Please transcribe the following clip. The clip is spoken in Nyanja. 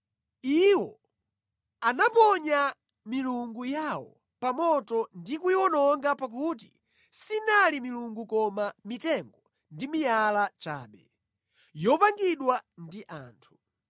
Iwo anaponya milungu yawo pa moto ndi kuyiwononga pakuti sinali milungu koma mitengo ndi miyala chabe, yopangidwa ndi anthu.